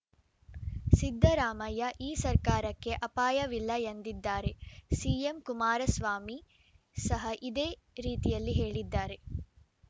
ಸಿದ್ದರಾಮಯ್ಯ ಈ ಸರ್ಕಾರಕ್ಕೆ ಅಪಾಯವಿಲ್ಲ ಎಂದಿದ್ದಾರೆ ಸಿಎಂ ಕುಮಾರಸ್ವಾಮಿ ಸಹ ಇದೇ ರೀತಿಯಲ್ಲಿ ಹೇಳಿದ್ದಾರೆ